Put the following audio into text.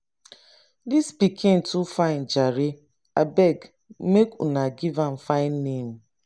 dis pikin too fine jare abeg make una give am fine name